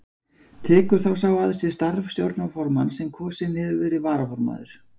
Tekur þá sá að sér starf stjórnarformanns sem kosinn hefur verið varaformaður.